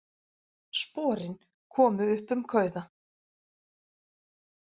Sporin komu upp um kauða